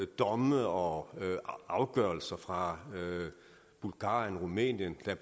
domme og afgørelser fra bulgarien og rumænien der